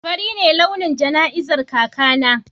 Fari ne launin jana'izar kakana.